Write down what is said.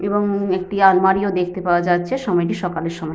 এবং একটি আলমারিও দেখতে পাওয়া যাচ্ছে। সময়টি সকালের সময়।